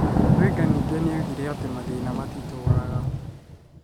Wenger ningĩ nĩ oigire atĩ mathĩna matitũũraga.